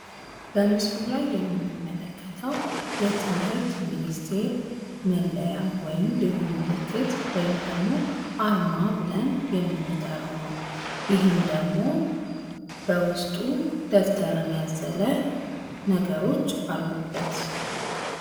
በምስሉ ላይ የምንመለከተው የትምህርት ሚኒስትር መለያ ወይም ልዩ ምልክት ወይም ደግሞ አርማ ብለን የምንጠራው ነው። ይህም ደግሞ በውስጡ ደብተርን ያዘለ ነገሮች አሉበት።